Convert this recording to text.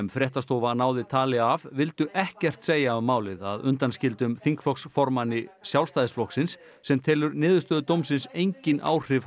fréttastofa náði tali af vildu ekkert segja um málið að undanskildum þingflokksformanni Sjálfstæðisflokksins sem telur niðurstöðu Mannréttindadómsins engin áhrif